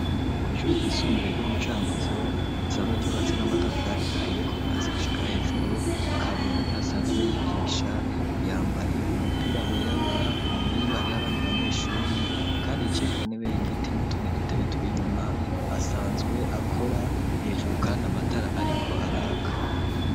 Kw'ishure ryisumbuye ryo mu Cankuzo risanzwe ryubatse n'amatafari ahiye, kuva hasi gushika hejuru, Kabura niho asanzwe yigisha, yambaye umupira wirabura, inyuma yiwe hariho abandi banyeshure kandi yicaye ku ntebe y'igiti n'utundi dutebe turi inyuma asanzwe akora, hejuru kandi amatara ariko araka.